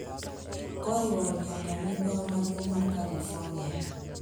koriwo nyaka migao maduong’ mar Kalifornia,